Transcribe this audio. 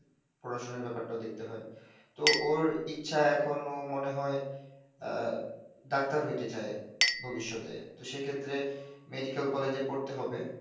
পড়াশোনার ব্যাপারটাও দেখতে হয়, তো ওর ইচ্ছা এখনো মনে হয় ডাক্তার হইতে চায়, ভবিষ্যতে, তো সেক্ষেত্রে মেডিকেল কলেজে পড়তে হবে।